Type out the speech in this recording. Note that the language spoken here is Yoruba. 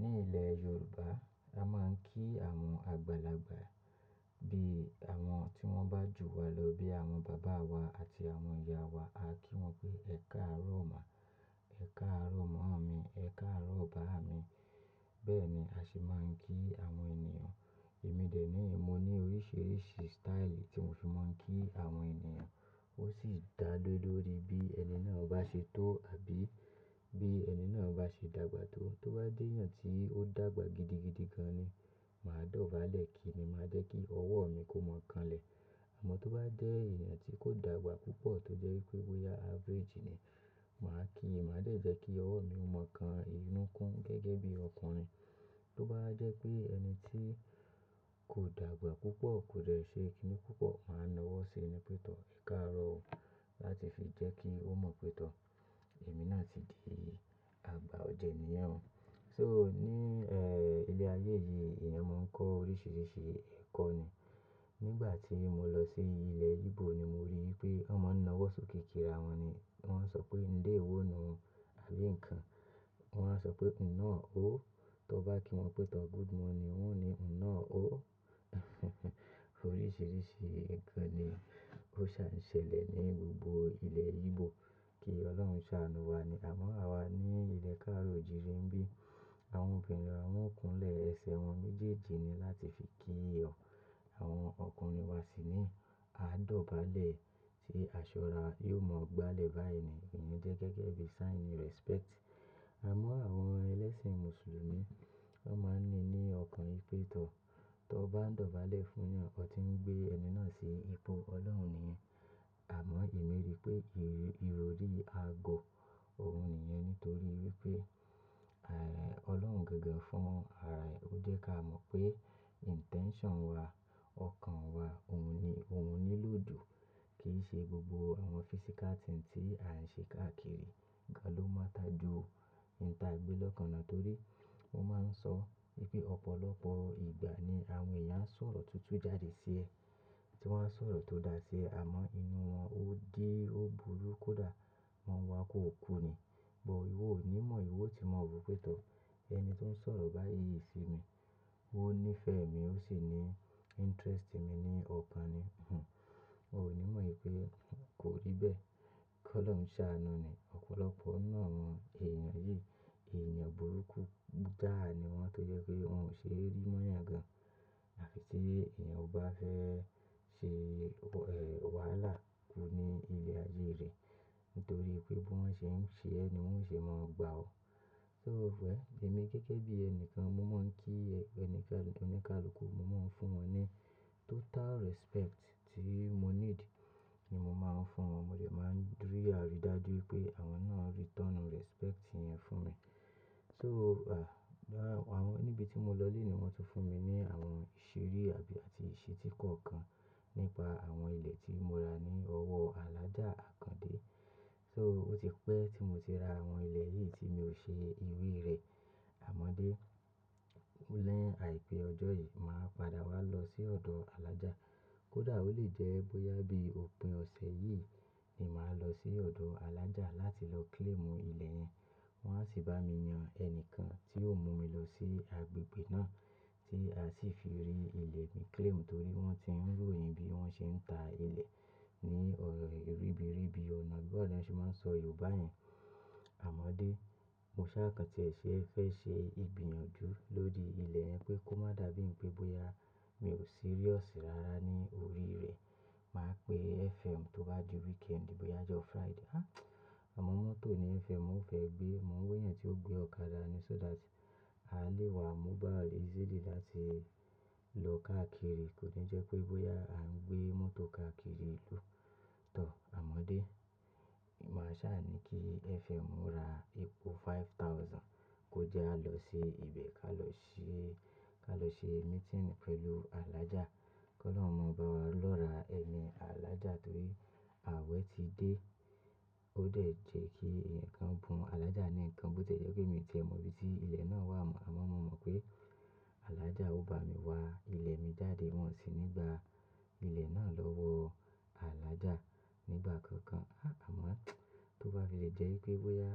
Ní ilẹ̀ Yorùbá, a máa ń kí àwọn àgbàlagbà bí àwọn tí wọ́n bá jù wa lọ bí àwọn bàbá wa àti àwọn ìyá wa, a kí wọn pé "Ẹ káàárọ̀ má, ẹ káàárọ̀ mọ́omi, ẹ káàárọ̀ bàamí." Bẹ́ẹ̀ ni a se máa ń kí àwọn ènìyàn. Èmi dẹ̀ ní mo ní oríṣiríṣi style tí mo fi máa ń kí àwọn ènìyàn. Ó sì dá le lóri bí ẹni náà bá ṣe tó àbí bí ẹni náà bá ṣe dàgbà tó. Tó bá jeeyàn tí ó dàgbà gidigidi gan ni, màá dọ̀bálẹ̀ ki ni, màá jẹ́ kí ọwọ́ mi kó mọ̀ọ́ kanlẹ̀. Àmọ́ tó bá jẹ́ èeyàn tí kò dàgbà púpọ̀ tó jẹ́ wípé boya average ni, màá kí, màá dẹ́ jẹ́ kí ọwọ́ mi ó mọ̀ọ́ kan inú kún gẹ́gẹ́ bí ọkùnrin. Tó bá wa jẹ́ pé ẹni tí kò dàgbà púpọ̀, kò dẹ̀ ṣe kíni púpọ̀, màá na ọwọ́ sí ni pé tọ́, "Ẹ káàárọ̀ o" láti fi jẹ́ kí ó mọ̀ pé tọ́ èmi náà ti di àgbà ọ̀jẹ̀ ẹ̀nìyẹn. So ní, ẹ́, ilẹ̀ ayé yìí, èeyàn máa ń kọ́ oríṣiríṣi ẹ̀kọ́ ni. Nígbà tí mo lọ sí ilẹ̀ Igbo ni mo rí i pé wọ́n máa ń na ọwọ́ sóke kíra wọn ni. Wọ́n ń sọ pé "Ndé ewonu" àbí ǹkan. Wọ́n wá sọ pé "Nnọọ o". Tó bá kí wọn pé tọ́ "Good morning" wọ́n ó ní "Nnọọ o". Oríṣiríṣi ǹkan ni ó ṣà ń ṣẹlẹ̀ ní gbogbo ilẹ̀ Igbo. Kí Ọlọ́run ṣàánú wa ni. Àmọ́ àwa ní ilẹ̀ káàró o jiire n bì, àwọn obìnrin wa wọ́n o kúnlẹ̀ ẹsẹ̀ wọn méjèèjì ni láti fi kí o. Àwọn ọkùnrin wa sí ní. A dọ̀bálẹ̀ tí aṣọ ara wa yóò mọ̀ gbálẹ̀ báyìí ni. Eyii jẹ́ gẹ́gẹ́ bí sign respect. Àmọ́ àwọn ẹlẹ́sìn Mùsùlùmí, wọ́n máa ń ní ní ọkàn wipé tọ́, tó bá ń dọ̀bálẹ̀ fúnyan, ọ ti ń gbé ẹni náà sí ipò Ọlọ́run niyen. Àmọ́ èmi rí pé ìròrí agọ̀ òun nìyẹn nítorí wípé, àì, Ọlọ́run gangan fún ara ẹ, ó jẹ́ ká mọ̀ pé intention wa, ọkàn wa, òun ni, òun nílò jù. Kì í ṣe gbogbo àwọn physical thing tí a ń ṣe káàkiri. Nkan ló mátter ju ohun ta gbe lọkan lo torí wọ́n máa ń sọ wípé ọ̀pọ̀lọpọ̀ ìgbà ni àwọn èèyàn a sọ̀rọ̀ tutu jáde sí ẹ, tí wọ́n á sọ̀rọ̀ tó da sí ẹ àmọ́ inú wọn ó dí, ó burú kódà wọ́n wá kó ò ku ni. But ìwọ ò ní mọ̀ ìwọ ti mọ̀ ro pé tọ́ ẹni tó ń sọ̀rọ̀ báyíi sí mi, ó ní ìfẹ́ mi, ó sì ní interest mi ní ọ̀kan ni, hinhn. Ò ò ní mọ̀ wipe kò rí bẹ́ẹ̀. Kí Ọlọ́run ṣàánú ni. Òpọ̀lọpọ̀ ninu àwọn èèyàn yìí, èèyàn burúkú jài ni wọ́n tó jẹ́ pé wọn ò ṣe é rí móyan gan. Àfi tí èèyàn ò bá fẹ́ ṣe, ẹ́, wàhálà ku ní ilẹ̀ ayé rẹ̀ nítorí pé bí wọ́n ṣe ń ṣe ẹ́ ni wọn ò ṣe máa gba ọ. So wẹ̀ll èmi gẹ́gẹ́ bí ẹni kan mo máa ń kí ẹnìkan oníkálukú, mo máa ń fún wọn ní total respect tí mo need ni mo máa ń fún wọn. Mo de ma n rí arí dájú wípé àwọn náà return respect yẹn fún mi. So, à, níbi tí mo lọ léèní wọn tún fún mi ní àwọn ìṣiri àbí àti ìṣití kọ̀ọ̀kan nípa àwọn ilẹ̀ tí mo ra ní ọwọ́ Alhaja Àkàndé. So ó ti pẹ́ tí mo ti ra àwọn ilẹ̀ yìí tí mi ò ṣe ìwé rẹ̀. Àmọ́ dé, o ni àìpé ọjọ́ yìí, màá padà wá lọ sí ọ̀dọ̀ Alhájá. Kódà ó lè jẹ́ bóyá bí òpin ọ̀sẹ̀ yìí ni màá lọ sí ọ̀dọ̀ alájá láti lọ claim ilẹ̀ yẹn. Wọn á sì bá mi yan ẹnìkan tí yóò mú mi lọ sí agbègbè náà tí a sì fi rí ilẹ̀ mi claim torí wọ́n ti ń royin bí wọ́n ṣe ń ta ilẹ̀ ní ribiribi ọ̀nà bawo ni won ṣe máa ń sọ Yorùbá yẹn. Àmọ́dé, mo sá kàn tí ẹ ṣe fẹ́ ṣe ìgbìyànjú lórí ilẹ̀ yẹn pé kó má dàbí pé bóyá mi ò serious rárá ní orí rẹ̀. Màá pe FM tó bá di weekend, bóyá ọjọ́ Friday. Àmọ́ mọ́tò ni FM, ò fẹ́ gbé, mò ń wéeyàn tí ó gbé ọ̀kadà ni so that a lè wá mobile easily láti lọ káàkiri. Kò ní jẹ́ pé bóyá à ń gbé mọ́tò káàkiri ìlú tọ̀. Àmọ́dé, màá sá à ní kí FM ra epò five thousand kó jẹ́ a lọ sí ibẹ̀ ká lọ ṣe, ká lọ ṣe meeting pẹ̀lú Alhájá. KỌlọ́run ro lọ́ra ẹmi Alhájá torí àwẹ̀ ti dé. Ó dẹ̀ jẹ́ kí eeyan kan bún Alhájá ní ǹkan bó tie jẹ́ pé mi ò tiẹ mọ̀ ibi tí ilẹ̀ náà wà mọ̀. Àmọ́ mo mọ̀ pé Alhájá ó bá mi wá ilẹ̀ mi jáde wọ́n sì ní gbà ilẹ̀ náà lọ́wọ́ aládàá nígbà kankan. Àmọ́ tó bá fi lè jẹ́ wípé bóyá